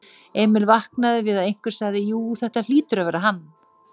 Emil vaknaði við að einhver sagði: Jú, þetta hlýtur að vera hann.